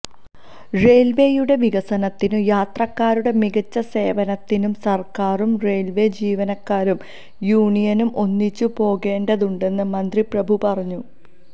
റെയില്വേയുടെ വികസനത്തിനും യാത്രക്കാരുടെ മികച്ച സേവനത്തിനും സര്ക്കാരും റെയില്വേ ജീവനക്കാരും യൂണിയനും ഒന്നിച്ചു പോകേണ്ടതുണ്ടെന്ന് മന്ത്രി പ്രഭു പറഞ്ഞു